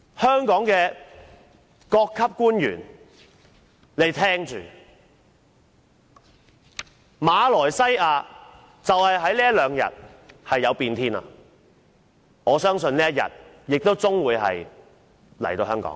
香港各級官員請聽着，馬來西亞在這兩天出現變天，我相信香港亦終會有這一天。